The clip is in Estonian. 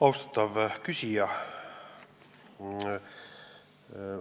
Austatav küsija!